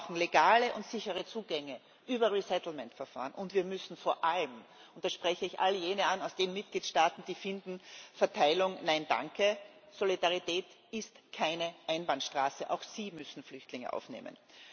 Wir brauchen legale und sichere Zugänge über resettlement Verfahren, und wir müssen vor allem und da spreche ich all jene an aus den Mitgliedstaaten, die finden Verteilung, nein danke sagen Solidarität ist keine Einbahnstraße, auch Sie müssen Flüchtlinge aufnehmen.